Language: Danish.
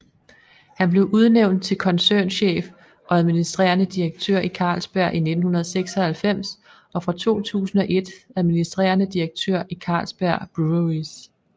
Han blev udnævnt til koncernchef og administrerende direktør i Carlsberg i 1996 og fra 2001 administrerende direktør i Carlsberg Breweries